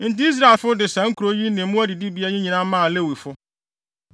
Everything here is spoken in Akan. Enti Israelfo de saa nkurow yi ne mmoa adidibea yi nyinaa maa Lewifo.